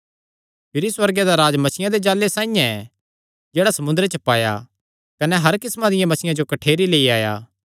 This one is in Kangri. भिरी सुअर्गे दा राज्ज मच्छियां दे जाल़े साइआं ऐ जेह्ड़ा समुंदरे च पाया कने हर किस्मां दियां मच्छियां जो कठ्ठेरी लेई आया